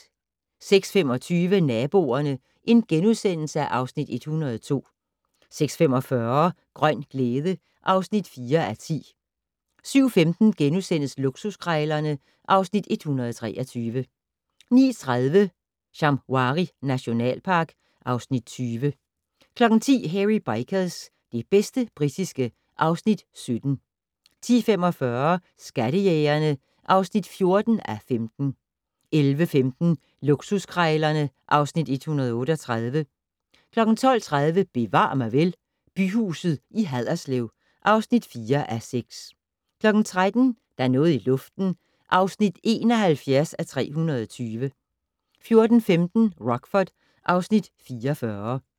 06:25: Naboerne (Afs. 102)* 06:45: Grøn glæde (4:10) 07:15: Luksuskrejlerne (Afs. 123)* 09:30: Shamwari nationalpark (Afs. 20) 10:00: Hairy Bikers - det bedste britiske (Afs. 17) 10:45: Skattejægerne (14:15) 11:15: Luksuskrejlerne (Afs. 138) 12:30: Bevar mig vel: Byhuset i Haderslev (4:6) 13:00: Der er noget i luften (71:320) 14:15: Rockford (Afs. 44)